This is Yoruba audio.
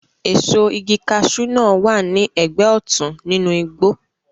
Èso igi kaṣú wà ní ẹgbẹ́ òtún nínú igbó